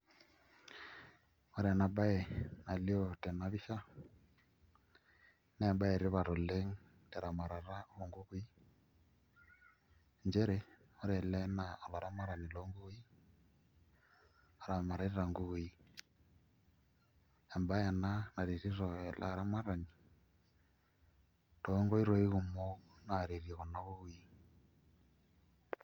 Ore enabae nalio tenabpisha naembae etipat oleng teramatare onkukui nchere ore ele na olaramatani lonkukui oramatita nkukui, embae ena naretito ele aramatani tonkoitoi kumok naretito kunakukui.